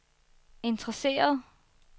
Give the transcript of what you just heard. interesseret